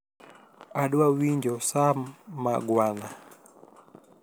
adwa winjo sam mangwana